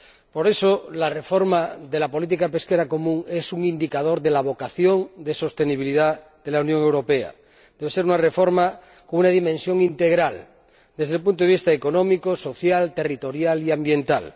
Por eso, la reforma de la política pesquera común es un indicador de la vocación de sostenibilidad de la Unión Europea. Debe ser una reforma con una dimensión integral desde el punto de vista económico, social, territorial y ambiental.